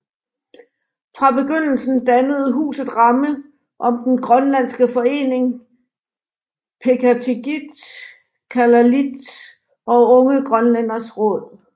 Fra begyndelsen dannede huset ramme om den grønlandske forening Peqatigiit Kalaallit og Unge Grønlænderes Råd